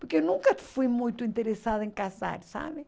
Porque eu nunca fui muito interessada em casar, sabe?